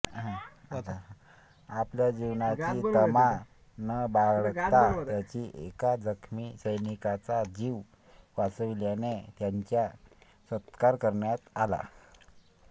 आपल्या जिवाची तमा न बाळगता त्यांनी एका जखमी सैनिकाचा जीव वाचविल्याने त्यांचा सत्कार करण्यात आला